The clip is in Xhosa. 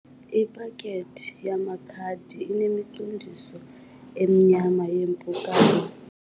Iphakethi yamakhadi inemiqondiso emnyama yeempukane.